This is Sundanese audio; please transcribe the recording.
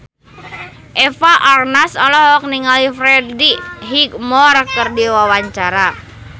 Eva Arnaz olohok ningali Freddie Highmore keur diwawancara